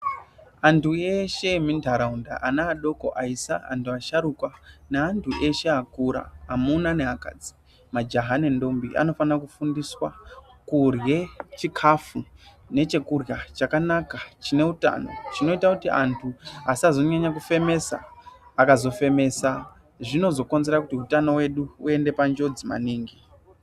Antu eshe emuntaraunda ana adoko, aisa antu asharukwa neantu eshe akura amuna neakadzi, majaha nendombi vanofana kufundiswa kurya chikafu nechekurya chakanaka, chineutano chinoita kuti vantu vasazonyanya kufemesa .Akazofemesa, zvinozokonzeresa kuti utano uende panjodzi maningi.